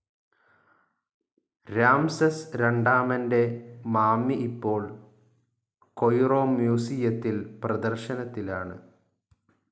Ramses രണ്ടാമൻ്റെ mummy ഇപ്പോൾ Cairo മ്യൂസിയത്തിൽ പ്രദർശനത്തിലാണ്.